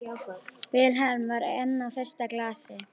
Vilhelm var enn á fyrsta glasi.